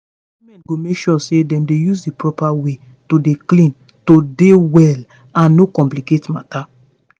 women go make sure say dem use di proper ways to dey clean to dey well and no complicate matter